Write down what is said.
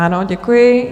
Ano, děkuji.